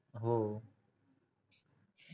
हो